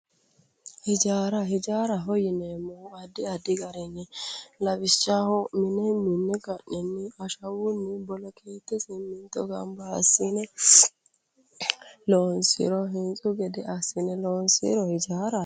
Ijaara ijaaraho yineemmohu woyite addi aadi garinni lawishshaho mine minne ka'ne ashawunni boloketetenni simminto ganba assine loonsiro hintsu gede assine loonsiro ijaaraho